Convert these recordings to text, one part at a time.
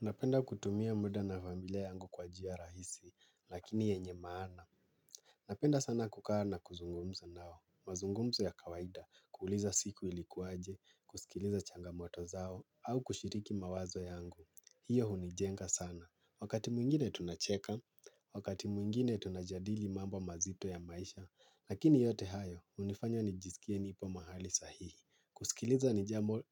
Napenda kutumia muda na familia yangu kwa jia rahisi, lakini yenye maana. Napenda sana kukaa na kuzungumza nao. Mazungumzo ya kawaida, kuuliza siku ilikuwaje, kusikiliza changamoto zao, au kushiriki mawazo yangu. Hiyo hunijenga sana. Wakati mwingine tunacheka, wakati mwingine tunajadili mambo mazito ya maisha. Lakini yote hayo, hunifanya nijisikie nipo mahali sahihi. Kusikiliza nijambo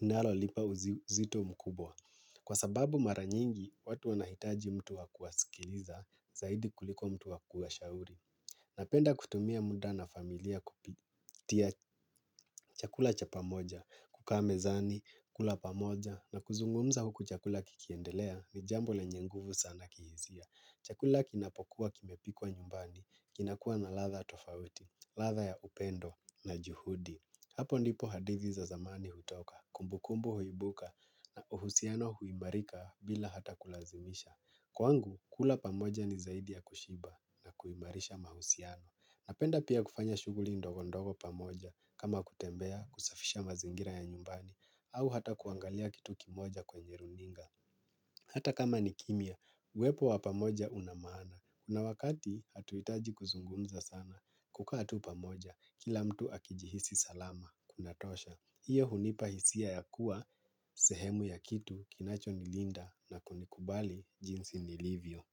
linalolipa uzito mkubwa. Kwa sababu maranyingi, watu wanahitaji mtu wa kuwasikiliza, zaidi kuliko mtu wa kuwashauri. Napenda kutumia muda na familia kupitia chakula cha pamoja, kukaa mezani, kula pamoja, na kuzungumza huku chakula kikiendelea ni jambo lenye nguvu sana kihisia. Chakula kinapokuwa kimepikwa nyumbani, kinakua na ladha tofauti, ladha ya upendo na juhudi. Hapo ndipo hadithi za zamani hutoka, kumbukumbu huibuka na uhusiano huimarika bila hata kulazimisha. Kwangu, kula pamoja ni zaidi ya kushiba na kuimarisha mahusiano. Napenda pia kufanya shuguli ndogondogo pamoja kama kutembea kusafisha mazingira ya nyumbani au hata kuangalia kitu kimoja kwenye runinga. Hata kama ni kimya, uepo wa pamoja una maana. Kuna wakati hatuitaji kuzungunza sana. Kukaa tu pamoja, kila mtu akijihisi salama. Kunatosha, hiyo hunipa hisia ya kuwa, sehemu ya kitu, kinacho nilinda na kunikubali jinsi nilivyo.